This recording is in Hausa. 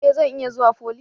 E! Zan iya zuwa foly.